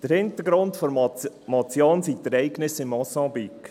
– Der Hintergrund der Motion sind die Ereignisse in Mosambik.